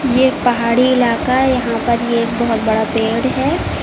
एक पहाड़ी इलाका है यहां पर ये एक बहुत बड़ा पेड़ है।